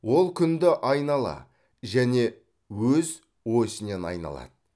ол күнді айнала және өз өсінен айналады